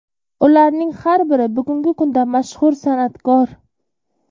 Ularning har biri bugungi kunda mashhur san’atkor.